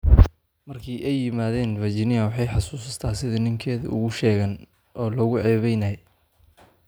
"Markii ay yimaadeen, Virginia waxay xusuustaa sidii ninkeeda ugu sheegeen oo loogu ceebeynayey."